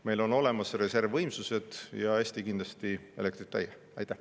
Meil on olemas reservvõimsused ja Eesti kindlasti elektrita ei jää.